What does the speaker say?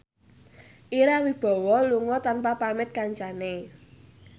Ira Wibowo lunga tanpa pamit kancane